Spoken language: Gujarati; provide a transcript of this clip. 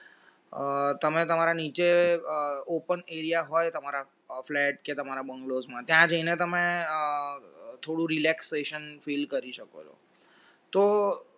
અ તમે તમારા નીચે open area હોય તમારા તમારા flat કે તમારા bungalows ત્યાં જઈને તમે થોડું relaxation feel કરી શકો છો તો